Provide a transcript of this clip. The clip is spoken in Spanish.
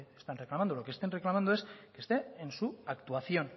están reclamando lo que están reclamando es que esté en su actuación